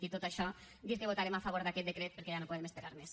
dit tot això dir que votarem a favor d’aquest decret perquè ja no podem esperar més